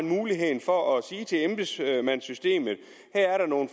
mulighed for at sige til embedsmandssystemet at her er der nogle